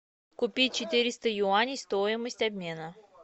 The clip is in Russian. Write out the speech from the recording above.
купить четыреста юаней стоимость обмена